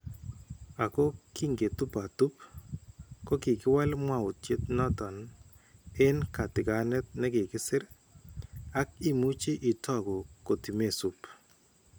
Ako kinketuptup , kokiwal mwawutyet noton en katikaneet nekikisir ak imuchi itokuu kotimesuub